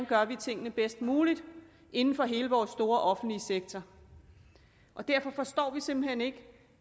gør tingene bedst muligt inden for hele vores store offentlige sektor derfor forstår vi simpelt hen ikke